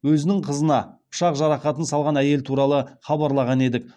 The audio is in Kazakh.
өзінің қызына пышақ жарақатын салған әйел туралы хабарлаған едік